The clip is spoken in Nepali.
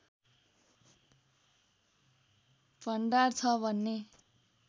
भण्डार छ भन्ने